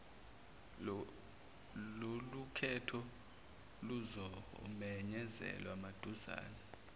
lolukhetho luzomenyezelwa maduzane